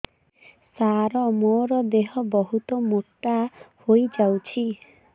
ସାର ମୋର ଦେହ ବହୁତ ମୋଟା ହୋଇଯାଉଛି